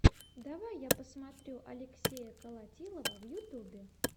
давай я посмотрю алексея колотилова в ютубе